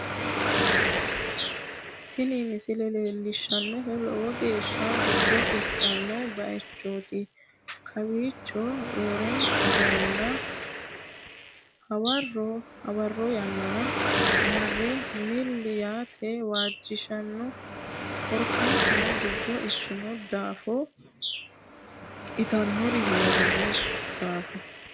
Tini misile leellishshannohu lowo geeshsha dubbo ikkino bayichooti, kowiicho roorenka yanna hawarro yannara marre milli yaate waajjishanno, korkaatuno dubbo ikkino daafo itannori hee'ranno daafo.